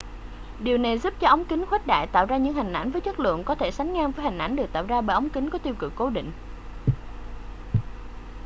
điều này giúp cho ống kính khuếch đại tạo ra những hình ảnh với chất lượng có thể sánh ngang với hình ảnh được tạo ra bởi ống kính có tiêu cự cố định